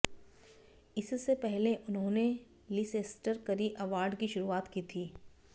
इससे पहले उन्होंने लीसेस्टर करी अवार्ड की शुरुआत की थी